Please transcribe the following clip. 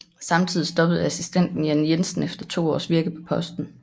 Samtidig stoppede assistenten Jann Jensen efter to års virke på posten